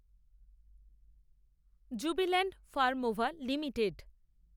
jubilant Pharmova limited